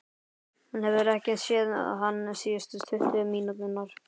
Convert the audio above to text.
Hún hefur ekki séð hann síðustu tuttugu mínúturnar.